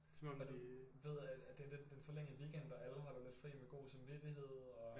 Som om at de ved at det er lidt en forlænget weekend og alle holder lidt fri med god samvittighed og